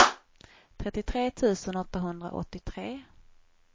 trettiotre tusen åttahundraåttiotre